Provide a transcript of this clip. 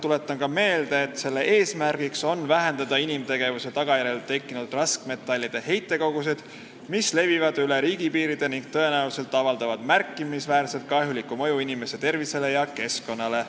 Tuletan ka meelde, et selle eesmärk on vähendada inimtegevuse tagajärjel tekkinud raskmetallide heitkoguseid, mis levivad üle riigipiiride ning tõenäoliselt avaldavad märkimisväärset kahjulikku mõju inimese tervisele ja keskkonnale.